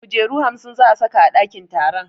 Kujeru hamsin za a saka a ɗakin taron